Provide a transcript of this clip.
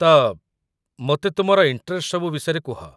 ତ, ମୋତେ ତୁମର ଇଣ୍ଟରେଷ୍ଟ ସବୁ ବିଷୟରେ କୁହ ।